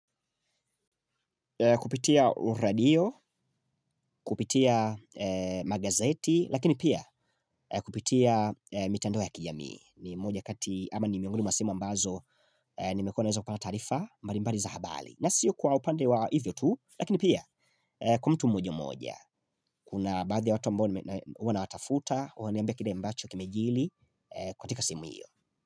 Kupia uradio kupitia magazeti lakini pia kupitia mitandao ya kijamia ni moja ya sehemu ambazo nimekuwa naweza kuona taarifa mbali mbali za abari na siyo kwa upande wa hivyo tu lakini pia kwa mtu mmoja mmoja. Kuna badhi watu ambao wana watafuta. Waniambia kida mbacho kimejili kwa tika simu hiyo.